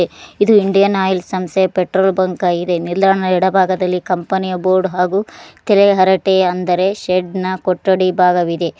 ಇದು Indian Oil ಸಂಸ್ಥೆಯ petrol bunk ಆಗಿದೆ ನಿಲ್ದಾಣದ ಎಡ ಭಾಗದಲ್ಲಿ ಕಂಪನಿಯ ಬೋರ್ಡ್ ಹಾಗೂ ತಲೆ ಹರಟೆ ಅಂದರೆ ಶಡ್ನ ಕೊಠಡಿ ಭಾಗವಿದೆ.